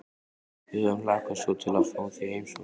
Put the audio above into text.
Við höfum hlakkað svo til að fá þig í heimsókn